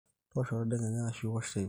toosho tentadekenya ashu too nteipai